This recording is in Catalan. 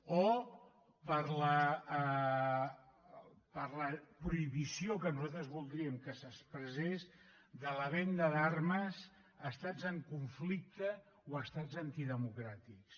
o per la prohibició que nosaltres voldríem que s’expressés de la venda d’armes a estats en conflicte o a estats antidemocràtics